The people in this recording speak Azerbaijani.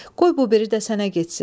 Qoy bu biri də sənə getsin.